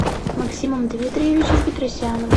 максимом дмитриевичем петросяном